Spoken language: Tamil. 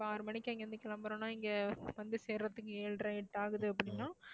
இப்ப ஆறு மணிக்கு அங்கிருந்து கிளம்பறோம்ன்னா இங்க வந்து சேர்றதுக்கு ஏழரை எட்டு ஆகுது அப்படின்னா